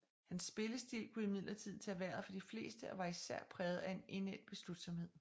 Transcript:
Hans spillestil kunne imidlertid tage vejret fra de fleste og var især præget af en indædt beslutsomhed